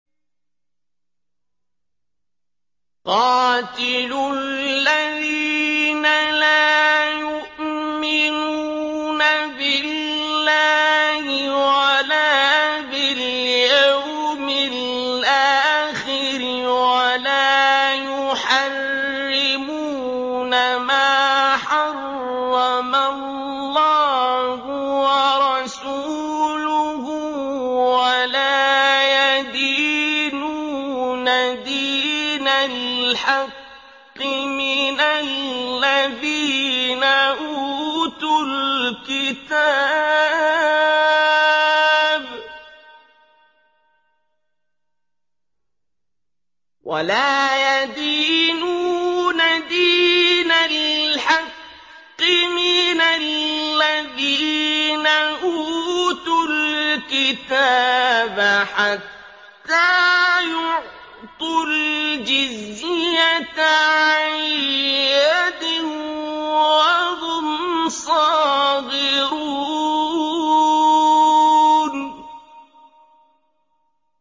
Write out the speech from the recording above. قَاتِلُوا الَّذِينَ لَا يُؤْمِنُونَ بِاللَّهِ وَلَا بِالْيَوْمِ الْآخِرِ وَلَا يُحَرِّمُونَ مَا حَرَّمَ اللَّهُ وَرَسُولُهُ وَلَا يَدِينُونَ دِينَ الْحَقِّ مِنَ الَّذِينَ أُوتُوا الْكِتَابَ حَتَّىٰ يُعْطُوا الْجِزْيَةَ عَن يَدٍ وَهُمْ صَاغِرُونَ